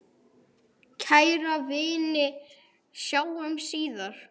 Kæra vina, sjáumst síðar.